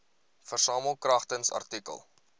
versamel kragtens artikel